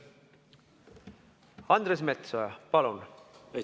Andres Metsoja, palun!